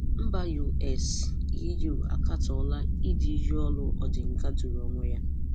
Mba US, EU akatọ́la ídú iyi ọrụ Odinga dụ̀rụ̀ onwe ya.